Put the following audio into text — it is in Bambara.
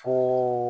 Fo